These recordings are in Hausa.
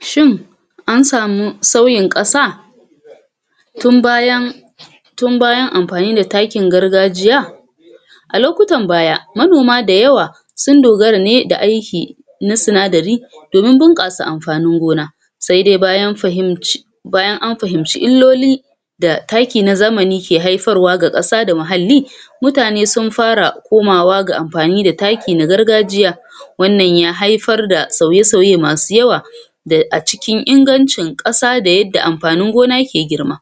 Shin ansa mu sauyin ƙasa um tun bayan amfani da takin gargajiya? A lokutan baya, manoma da yawa, sun dogara ne da aiki, na sinadari domin bunƙasa amfanin gona. Sa dai um bayan an fahimci illoli, da takin na zamani ke haifarwa ga ƙasa da muhalli, mutane sun fara komawa ga amfani ga amfani da taki na gargajiya. Wannan ya haifar da sauye-sauye masu yawa, da acikin ingancin ƙasa da yadda amfanin gona ke girma.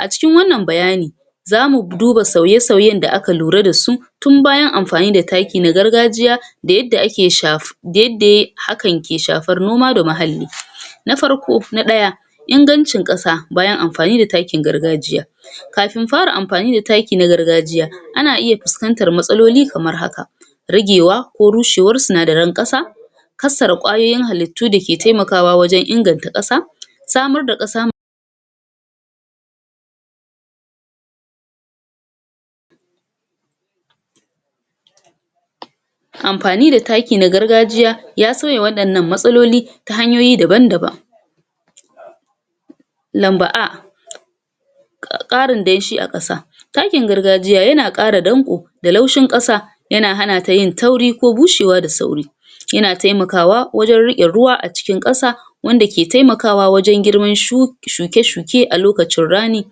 A cikin wannan bayanin, zamu duba sauye-sauyen da aka lura dasu tun bayan amfani da taki na gargajiya da yadda [ake shaf] um hakan ke shafan noma da muhalli. Na farko na ɗaya inganci ƙasa bayan amfani da takin gargajiya. Kafin fara amfani da taki na gargajiya ana iya fuskantar matsaloli kamar haka: ragewa ko rushewar sinadaran ƙasa, kassara ƙwayoyin halittu da ke taimakawa wajen inganta ƙasa. Samar da ƙasa amfani da taki na gargajiya ya sauya waɗannan matsaloli ta hanyoyi daban-daban Lamba A: um Ƙarin danshi a ƙasa, takin gargajiya, yana ƙara danko da laushin ƙasa yana hanata yin tauri ko bushewa da sauri. yana taimakawa wajen riƙe ruwa acikin ƙasa. wanda ke taimakawa wajen girman um shuke-shuke a lokacin rana.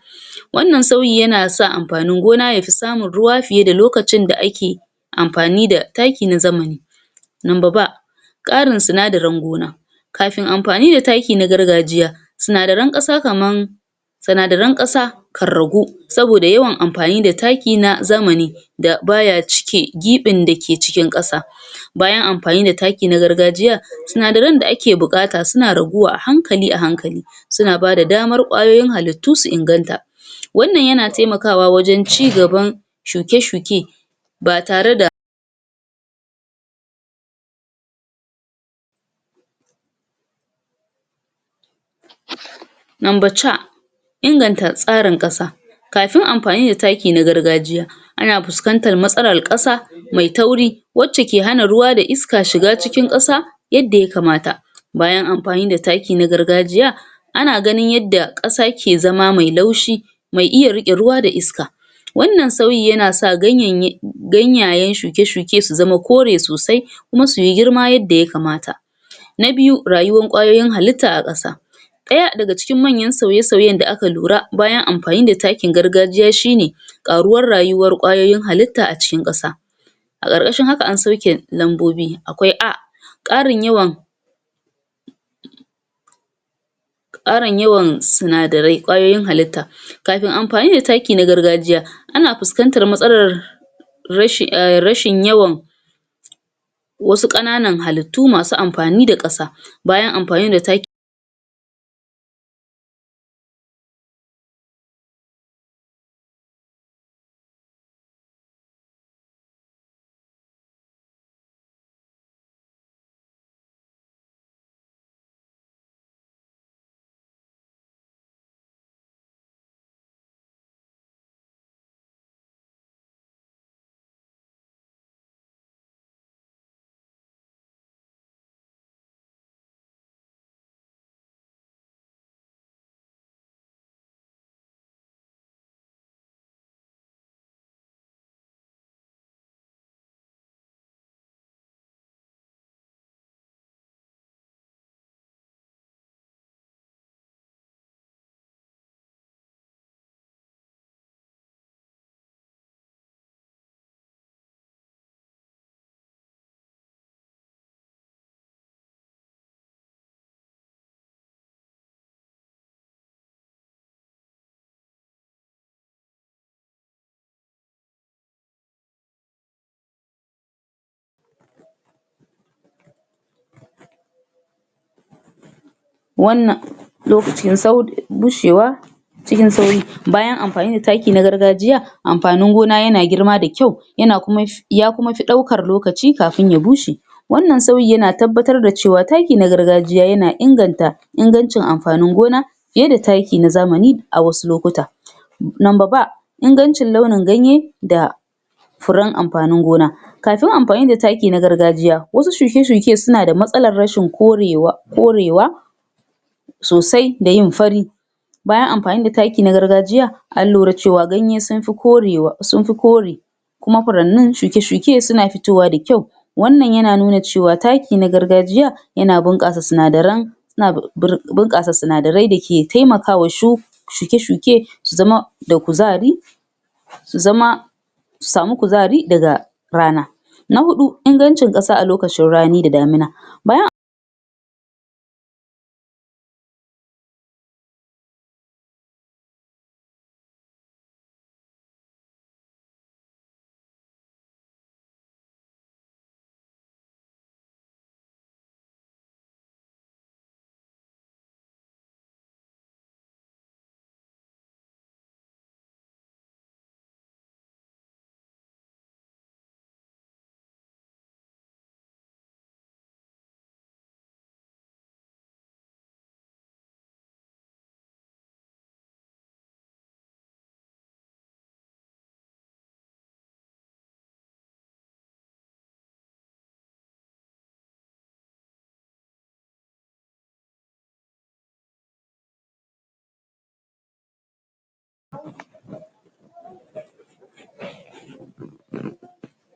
Wannan sauyi yana sa amfanin gona yafi samun ruwa fiya da lokacin da ake amfani da taki na zamani. Lamba B: Ƙarin sinadarin gona. Kafin amfani da taki na gargajiya, sinadaran ƙasan kaman: sinadaran ƙasa karragu sanoda yawan amafni da taki na zamani da baya cike giɓin da ke cikin ƙasa. bayan amfani da taki na gargajiyan sinadaran da ake buƙata suna raguwa ahankali-ahankali suna bada damar ƙwayoyin rubutu su inganta. Wannan yan ataimkawa wajen cigaban shuke-shuke ba tare da Numba C. Inganta tsarin ƙasa. Kafin amfani da taki na gargajiya, ana fuskantar matsalar ƙasa mai tauri wacce ke hana ruwa da iska shiga cikin ƙasa, yadda ya kamata. Bayan anfani da taki na gargajiya, ana ganin yadda ƙasa ke zama mai laushi, mai iya rriƙe ruwa da iska. Wannan sauyi yana iya sa um ganyayen shuke-shuke su zama kore sosai kuma su yi girma yadda ya kamata. Na biyu, rayuwar ƙwayoyin halitta a ƙasa. Ɗaya daga cikin manyan sauye-sauyen da aka lura bayan amfani da takin gargajiya shine: ƙaruwar rayuwar ƙwayoyin halitta a cikin ƙasa. A ƙarƙashin haka an sauke lambobi akwai A, um ƙarin yawan sinadarai ƙwayoyin halitta, Kafin amfani da taki na gargajiya, ana fuskantar matsalar um rashin yawan wasu ƙananan halittu masu amfani da ƙasa bayan amfani da takin wannan bushewa cikin sauri. Bayan amfani da taki na gargajiya, amfanin gona yana girma da kyau um ya kuma fi ɗaukar lokaci kafin ya bushe. Wannan sauyi yana tabbatar da cewa taki na gargajiya yana inganta ingancin amfanin gona, fiye da taki na zamani a wasu lokuta. Numba B: Ingancin launin ganye da furen amfann gona. Kafin amfanin da taki na gargajiya, wasu shuke-shuke, su na da matsalar rashin um korewa sosai, da yin fari bayan amfani da taki na gargajiya, an lura cewa, ganye sun fi[um] kore kuma huranni shuke-shuke suna fitowa da kyau. Wannan yana nuna cewa taki na gargajiya, yana bunƙasa sinadaran um da ke taimakawa um shuke-shuke da kuzari um su samu kuzari daga rana. Na huɗu: ingancin ƙasa a lokacin rani da damina Bayan